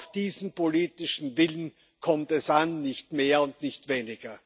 Auf diesen politischen Willen kommt es an, nicht mehr und nicht weniger.